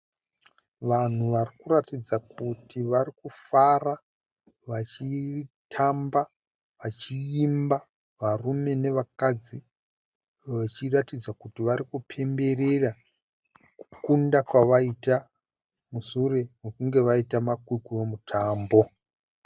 Vanhu varikuratidza kuti varikufara, vachitamba, vachiimba, varume nevakadzi, vachiratidza kuti varikupemberera kukunda kwavaita, musure kwekunge vaita makwikwi emutambo.